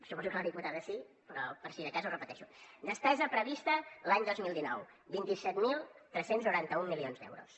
suposo que la diputada sí però per si de cas ho repeteixo despesa prevista l’any dos mil dinou vint set mil tres cents i noranta un milions d’euros